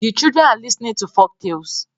The children are listenig to folk talles